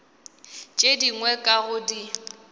tše dingwe ka go di